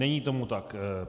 Není tomu tak.